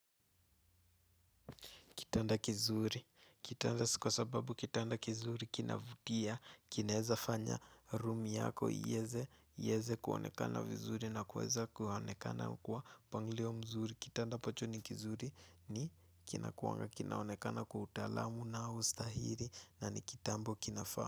Kitanda kizuri, kitanda si kwa sababu kitanda kizuri kinavutia, kinaeza fanya room yako, ieze kuonekana vizuri na kuweza kuonekana kwa mpangilio mzuri. Kitanda ambacho ni kizuri ni kinakuanga, kinaonekana kwa utalaam na ustahiri na ni kitambo kinafaa.